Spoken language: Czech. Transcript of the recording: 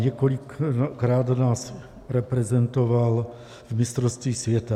Několikrát nás reprezentoval v mistrovství světa.